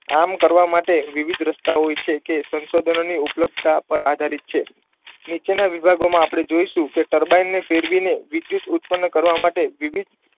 આમ કરવા માટે વિવિધ રસ્તા હોય છે કે સંશોધનોની ઉપલબ્ધતા પર આધારિત છે. નીચેના વિભાગોમાં આપણે જોઇશું કે ટર્બાઇનને ફેરવીને વિદ્યુત ઉત્પન્ન કરવા માટે વિવિધ